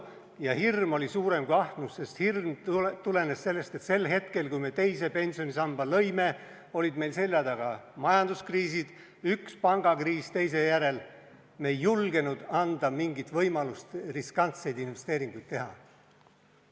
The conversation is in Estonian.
Ja hirm oli suurem kui ahnus, sest hirm tulenes sellest, et sel hetkel, kui me teise pensionisamba lõime, olid meil selja taga majanduskriisid, üks pangakriis teise järel, ning me ei julgenud anda mingit võimalust riskantseid investeeringuid teha.